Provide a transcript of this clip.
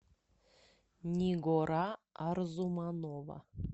нигора арзуманова